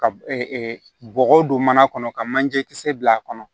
Ka bɔgɔ don mana kɔnɔ ka manje kisɛ bila a kɔnɔ